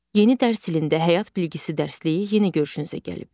Yeni dərs ilində həyat bilgisi dərsliyi yenə görüşünüzə gəlib.